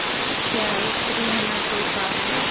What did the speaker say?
क्या स्त्री होना कोई पाप है